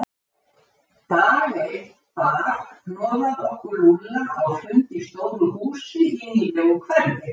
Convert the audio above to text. Dag einn bar hnoðað okkur Lúlla á fund í stóru húsi í nýlegu hverfi.